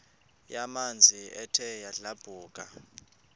yamanzi ethe yadlabhuka